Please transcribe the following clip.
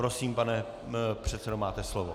Prosím, pane předsedo, máte slovo.